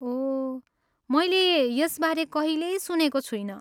ओह, मैले यसबारे कहिले सुनेको छुइनँ।